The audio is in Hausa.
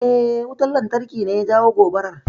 Eh, wutan lantarki ne ya jawo gobarar.